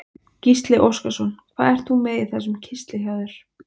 Gísli Óskarsson: Hvað ert þú með í þessum kistli hjá þér?